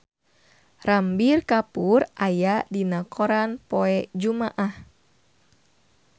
Ranbir Kapoor aya dina koran poe Jumaah